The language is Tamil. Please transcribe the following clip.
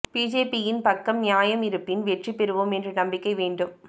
பிஜேபி யின் பக்கம் நியாயம் இருப்பின் வெற்றி பெறுவோம் என்ற நம்பிக்கை வேண்டும்